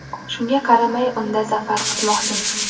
Shunga qaramay unda zafar quchmoqchimiz.